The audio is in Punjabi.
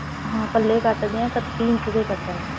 ਹਾਂ ਪੱਲੇ ਕੱਟਦੇ ਹਾਂ ਪੱਚੀ ਇੰਚ ਦੇ ਕੱਟਨੇ ਹਾਂ